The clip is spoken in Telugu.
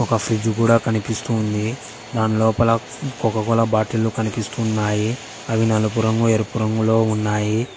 ఒక ఫ్రిడ్జు గూడ కనిపిస్తుంది దాని లోపల కొకకోలా బాటిల్లు కనిపిస్తున్నాయి అవి నలుపు రంగు ఎరుపు రంగులో ఉన్నాయి.